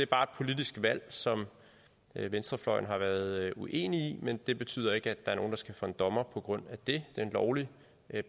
bare et politisk valg som venstrefløjen har været uenig i men det betyder ikke at der er nogen der skal for en dommer på grund af det var en lovlig